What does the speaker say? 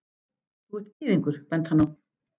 Þú ert gyðingur, benti hann á.